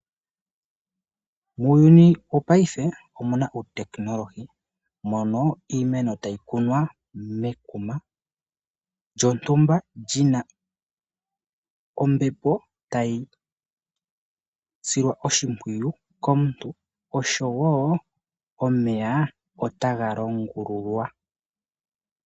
Muuyuni wopaife omuna uutekenolohi mono iimeno tayi kunwa mekuma lyontumba lyina ombepo tayi silwa oshimpwiyu komuntu oshowo omeya otaga longululwa.